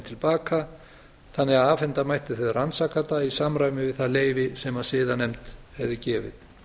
til baka þannig að afhenda mætti þau rannsakanda í samræmi við það leyfi sem siðanefnd hefi gefið